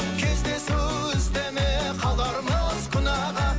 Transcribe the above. кездесу іздеме қалармыз күнәға